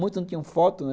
Muitos não tinham foto, né?